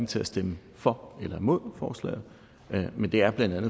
til at stemme for eller imod forslaget men det er bla